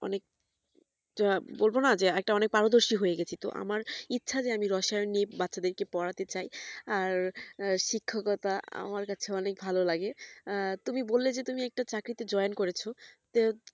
অনেক বলবোনা যে অনেক পারদর্শী হয়ে গেছি আমার ইচ্ছে যে আমি রসায়ন নিয়ে বাচ্চা দেড় কে পড়াতে চাই আর শিক্ষকতা আমার কাছে অনেক ভালো লাগে আর তুমি বললে যে তুমি একটা চাকরিতে join করেছো তো